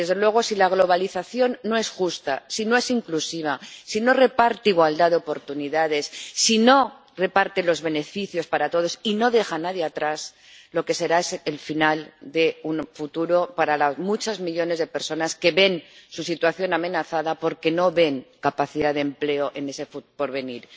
Y, desde luego, si la globalización no es justa, si no es inclusiva, si no reparte igualdad de oportunidades, si no reparte los beneficios para todos y si deja a alguien atrás, lo que será es el final de un futuro para los muchos millones de personas que ven su situación amenazada, porque no ven capacidad de empleo en ese porvenir.